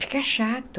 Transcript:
Fica chato.